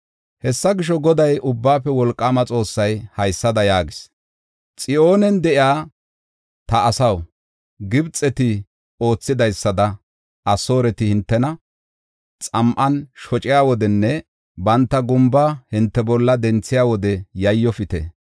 Hessa gisho, Goday, Ubbaafe Wolqaama Xoossay haysada yaagees: “Xiyoonen de7iya ta asaw, Gibxeti oothidaysada Asooreti hintena xam7an shociya wodenne banta gumba hinte bolla denthiya wode yayyofite.